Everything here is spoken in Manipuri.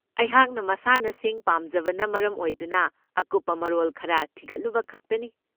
ꯑꯩꯍꯥꯛꯅ ꯃꯁꯥꯟꯅꯁꯤꯡ ꯄꯥꯝꯖꯕꯅ ꯃꯔꯝ ꯑꯣꯏꯗꯨꯅ ꯑꯀꯨꯞꯄ ꯃꯔꯣꯜ ꯈꯔ ꯊꯤꯒꯠꯂꯨꯕ ꯈꯛꯇꯅꯤ꯫